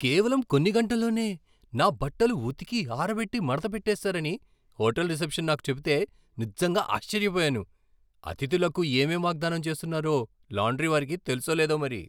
కేవలం కొన్ని గంటల్లోనే నా బట్టలు ఉతికి, ఆరబెట్టి, మడత పెట్టేస్తారని హోటల్ రిసెప్షన్ నాకు చెబితే నిజంగా ఆశ్చర్యపోయాను. అతిథులకు ఏమేం వాగ్దానం చేస్తున్నారో లాండ్రీ వారికి తెలుసో లేదో మరి.